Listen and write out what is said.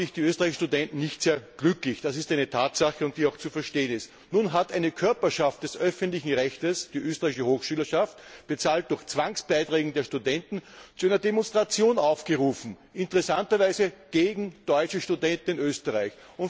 Das macht natürlich die österreichischen Studenten nicht sehr glücklich. Das ist eine Tatsache, und die ist auch zu verstehen. Nun hat eine Körperschaft des öffentlichen Rechts, die Österreichische Hochschülerschaft, finanziert durch Zwangsbeiträge der Studenten, zu einer Demonstration aufgerufen, interessanterweise gegen deutsche Studenten in Österreich.